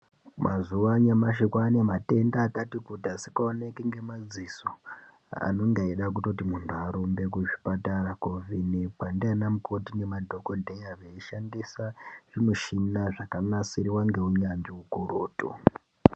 Mazuwa anyamashi kwaane matenda akati kuti, asikaoneki ngemadziso, anenge eida kutoti muntu arumbe kuzvipatara koovhenekwa ndianamukoti nemadhokodheya, veishandisa ,zvimishina zvakanasirwa ngeunyanzvi ukurutu .